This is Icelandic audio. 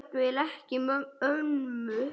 Jafnvel ekki ömmur.